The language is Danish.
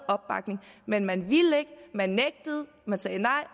opbakning men man ville ikke man nægtede man sagde nej